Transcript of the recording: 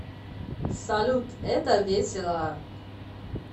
салют это весело